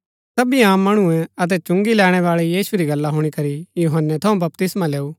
सभी आम मणुऐ अतै चुंगी लैणैबाळै यीशु री गल्ला हुणी करी यूहन्‍नै थऊँ बपतिस्मा लैऊ अतै प्रमात्मैं जो धर्मी मनी लैऊ